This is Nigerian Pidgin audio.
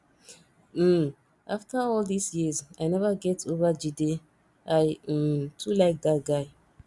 um after all dis years i never get over jide i um too like dat guy